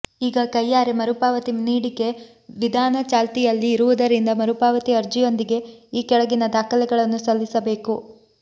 ಈಗ ಕೈಯಾರೆ ಮರುಪಾವತಿ ನೀಡಿಕೆ ವಿಧಾನ ಚಾಲ್ತಿಯಲ್ಲಿ ಇರುವುದರಿಂದ ಮರುಪಾವತಿ ಅರ್ಜಿಯೊಂದಿಗೆ ಈ ಕೆಳಗಿನ ದಾಖಲೆಗಳನ್ನು ಸಲ್ಲಿಸಬೇಕು